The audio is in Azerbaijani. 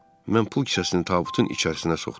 Mən pul kisəsini tabutun içərisinə soxdum.